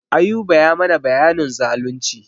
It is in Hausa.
Ayuba ya mana bayanin zalunci.